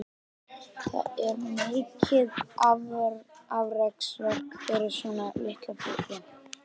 Það er mikið afreksverk fyrir svona litla fugla.